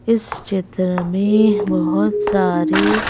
इस चित्र में बहुत सारे--